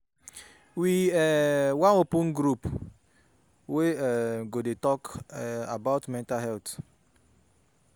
We um wan open group wey um go dey um talk about mental health.